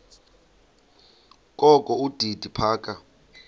kokho udidi phaka